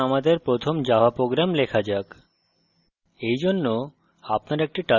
ঠিক আছে এখন আমাদের প্রথম java program লেখা যাক